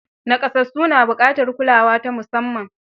Nakasassu na buƙatar kulawa ta musamman.